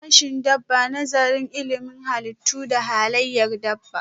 Sashen dabba Nazarin ilimin halittu da halayyar dabba.